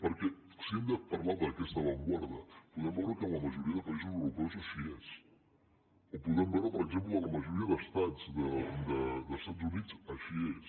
perquè si hem de parlar d’aquesta avantguarda podem veure que en la majoria de països europeus així és o podem veure per exemple que a la majoria d’estats dels estats units així és